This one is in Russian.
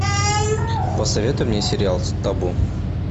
посоветуй мне сериал табу